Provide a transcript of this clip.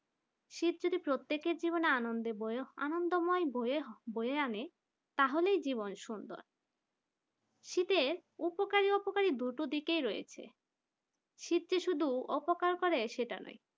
শীত যদি প্রত্যেকের আনন্দের বইয়ে আনন্দময় বয়ে বয়ে আনে তাহলেই জীবন সুন্দর শীতের উপকারী অপকারী দুটো দিকেই রয়েছে শীত যে শুধু উপকার করে সেটা নয়